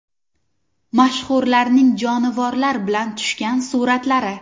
Mashhurlarning jonivorlar bilan tushgan suratlari.